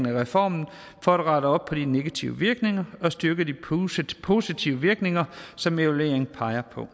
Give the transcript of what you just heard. af reformen for at rette op på de negative virkninger og styre de positive virkninger som evalueringen peger på